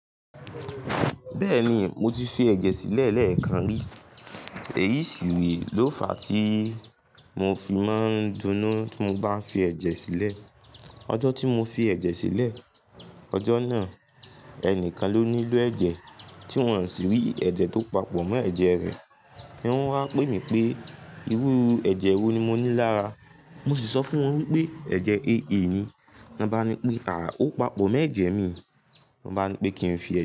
Bẹ́ẹ̀ni, mo ti fi ẹ̀jẹ̀ sílẹ̀ lẹ́ẹ̀kan rí. Èyí sì lò fa tí mo fi máa ń dunú tí mo bá fi ẹ̀jẹ̀ sílẹ̀. Ọjọ́ tí mo fi ẹ̀jẹ̀ sílẹ̀, ọjọ́ náà, ẹnìkan ló nílò ẹ̀jẹ̀, tí wọ́n sì rí ẹ̀jẹ̀ tó papọ̀ mọ́ ẹ̀jẹ̀ rẹ̀. Wọ́n wá pè mí pé iru ẹ̀jẹ̀ wo ni mo ní lára, mo sì sọ fún wọn wípé ẹ̀jẹ̀ AA ni. Wọ́n bá ní pé àà ó papọ̀ mọ́ ẹ̀jẹ̀ mi, wọ́n bá ní pé kí n fi ẹ̀jẹ̀.